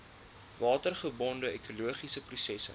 watergebonde ekologiese prosesse